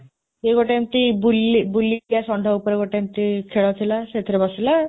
ସେଇ ଗୋଟେ ଏମିତି ବୁଲି ବୁଲିଯିବା ଷଣ୍ଢ ଉପରେ ଗୋଟେ ଏମିତି ଖେଳ ଥିଲା। ସେଥିରେ ବସିଲା।